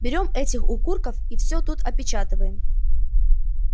берём этих укурков и всё тут опечатываем